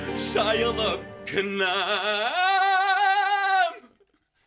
шайылып кінәм